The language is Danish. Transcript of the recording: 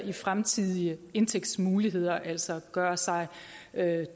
i fremtidige indtægtsmuligheder altså gøre sig